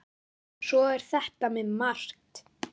Svona er þetta með margt.